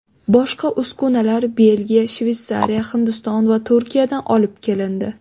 Boshqa uskunalar Belgiya, Shveysariya, Hindiston va Turkiyadan olib kelindi.